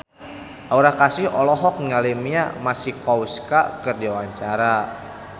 Aura Kasih olohok ningali Mia Masikowska keur diwawancara